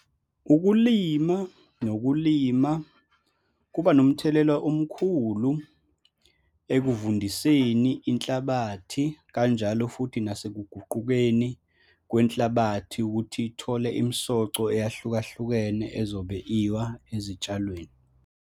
Ukulima nokulima kuba nomthelela omkhulu ekuvundiseni inhlabathi, kanjalo futhi nasekuguqukeni kwenhlabathi ukuthi ithole imisoco eyahlukahlukene ezobe iwa ezitshalweni.